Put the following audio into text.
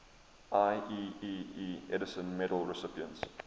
ieee edison medal recipients